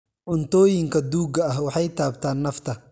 Cuntooyinka duugga ah waxay taabtaan nafta.